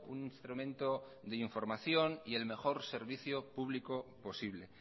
un instrumento de información y el mejor servicio público posible